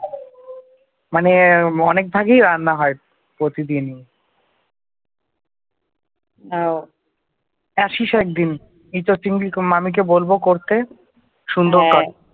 মানে অনেক ভাগই রান্না হয় প্রতিদিনই আসিস একদিন এঁচোর চিংড়ি মামীকে বলব করতে সুন্দর